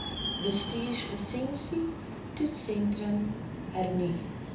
bestuurslisensie toetssentrum hernu